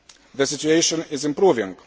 The situation is improving.